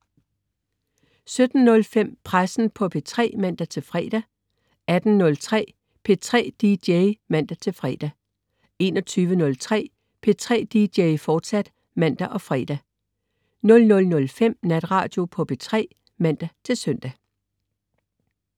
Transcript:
17.05 Pressen på P3 (man-fre) 18.03 P3 DJ (man-fre) 21.03 P3 DJ, fortsat (man og fre) 00.05 Natradio på P3 (man-søn)